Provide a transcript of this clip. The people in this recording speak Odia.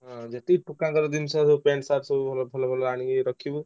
ହଁ ଯେତିକି ଟୁକାଙ୍କର ଜିନିଷ ସବୁ pant shirt ସବୁ ଭଲ ଭଲ ଆଣିକି ରଖିବୁ।